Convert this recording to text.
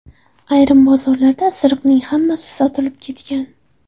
Ayrim bozorlarda isiriqning hammasi sotilib ketgan.